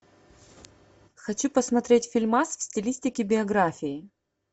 хочу посмотреть фильмас в стилистике биографии